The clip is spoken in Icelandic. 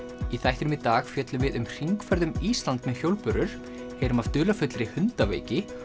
í þættinum í dag fjöllum við um hringferð um Ísland með hjólbörur heyrum af dularfullri hundaveiki